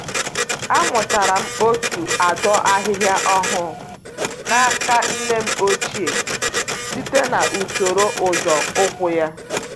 Amụtara m otu adọ ahịhịa ọgwụ n'aka nne m ochie site na-isoro nzọ ụkwụ ya